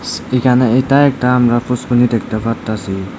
এখানে এটা একটা আমরা পুসকুনি দেখতে পারতাসি।